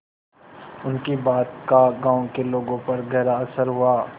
उनकी बात का गांव के लोगों पर गहरा असर हुआ